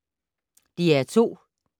DR2